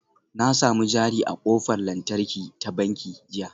Na sami jari a ƙofar lantarki ta banki jiya